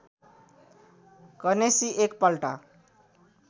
गणेशजी एक पल्ट